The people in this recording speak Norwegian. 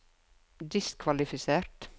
diskvalifisert